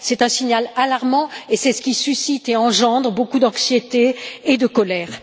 C'est un signal alarmant et c'est ce qui suscite et engendre beaucoup d'anxiété et de colère.